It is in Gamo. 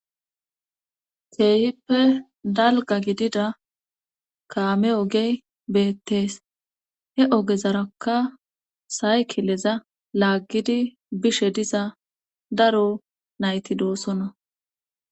teehippe dalga gidida kaame ogey beettees he ogezarakka saykileza laaggidi bishe diza daro nayti doossona